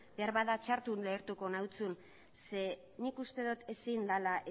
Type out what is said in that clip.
beharbada txarto ulertuko nizun zeren nik uste dut ezin dela